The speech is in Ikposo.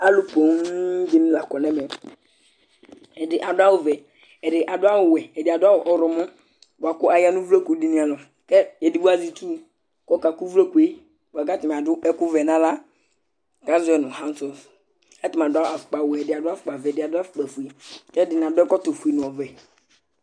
Alu poo dìní la kɔ nu ɛmɛ Ɛdí adu awu vɛ, ɛdí adu wɛ, ɛdí adu awu ɔwlɔmɔ bʋakʋ aya nu uvloku dìní ava kʋ ɛdigbo azɛ itsu kʋ ɔka ku ʋvloku ye Atani adu ɛku vɛ nʋ aɣla azɔɛ nʋ "hand soft" Ɛdí adu afukpa wɛ, ɛdí adu afukpa vɛ, ɛdí ɛdí adu afukpa fʋe kʋ ɛdiní adʋ ɛkɔtɔ fʋe nʋ ɔwɛ